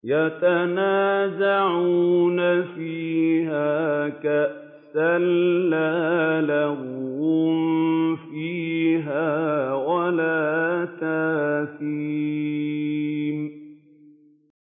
يَتَنَازَعُونَ فِيهَا كَأْسًا لَّا لَغْوٌ فِيهَا وَلَا تَأْثِيمٌ